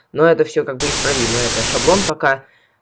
ну это всё как бы исправимо это шаблон пока